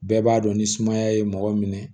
Bɛɛ b'a dɔn ni sumaya ye mɔgɔ minɛ